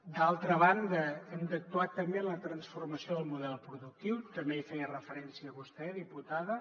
d’altra banda hem d’actuar també en la transformació del model productiu també hi feia referència vostè diputada